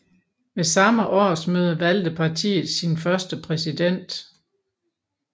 Ved samme årsmøde valgte partiet sin første præsident